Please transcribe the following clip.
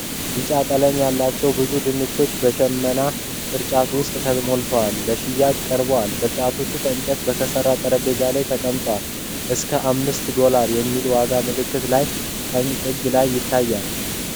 ቢጫ ቀለም ያላቸው ብዙ ድንች በሽመና ቅርጫቶች ውስጥ ተሞልተው ለሽያጭ ቀርበዋል። ቅርጫቶቹ ከእንጨት በተሠራ ጠረጴዛ ላይ ተቀምጠዋል፣ እና $5.00 የሚል የዋጋ ምልክት ከላይ ቀኝ ጥግ ላይ ይታያል።